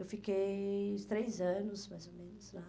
Eu fiquei uns três anos, mais ou menos, lá.